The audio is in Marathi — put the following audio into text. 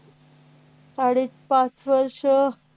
साडेपाच वर्ष